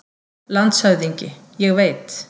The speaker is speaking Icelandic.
LANDSHÖFÐINGI: Ég veit.